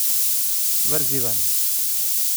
Vrzi ven!